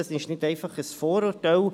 Dies ist nicht einfach ein Vorurteil;